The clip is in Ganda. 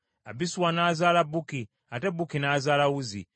Abisuwa n’azaala Bukki, ate Bukki n’azaala Uzzi;